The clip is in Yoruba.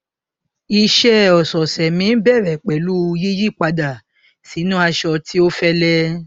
iṣẹ ọsọọsẹ mi n bẹrẹ pẹlú yíyí padà sínú aṣọ tí ó fẹlẹ